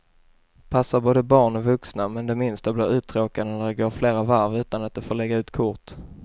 Passar både barn och vuxna, men de minsta blir uttråkade när det går flera varv utan att de får lägga ut kort.